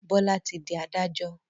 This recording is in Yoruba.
Bola tí dì adájọ́.